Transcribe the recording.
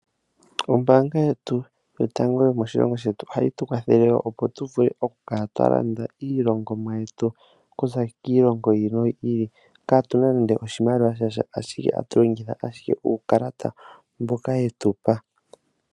Ombaanga yetu yotango yomoshilongo shetu ohayi tu kwathele wo opo tu vule okukala twa landa iilongomwa yetu kuza kiilongo yiili noyiili kaatuna nande oshimaliwa sha, shaashi oha tu longitha ashike uukalata mboka yetu pa.